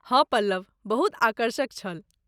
हँ पल्लव! बहुत आकर्षक छल।